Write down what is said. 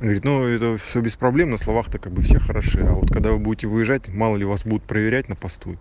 говорит ну это все без проблем на словах то как бы все хороши а вот когда вы будете выезжать мало ли вас будут проверять на посту